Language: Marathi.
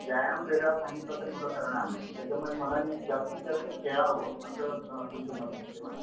व्यायाम वेगळा सांगितला तर मुलं करणार नाहीत. त्याच्यामुळे मुलांनी जास्तीत जास्त खेळावं असं तुमचं मत दिसतंय मला.